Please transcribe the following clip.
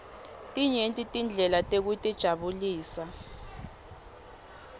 tinyenti tindlela tekutijabulisa